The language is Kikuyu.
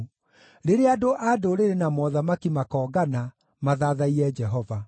rĩrĩa andũ a ndũrĩrĩ na mothamaki makoongana, mathathaiye Jehova.